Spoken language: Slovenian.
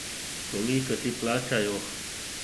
Koliko ti plačajo?